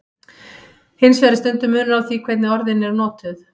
Hins vegar er stundum munur á því hvernig orðin eru notuð.